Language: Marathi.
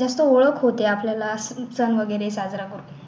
जशी ओळख होते आपल्याला सण वगैरे साजरा करून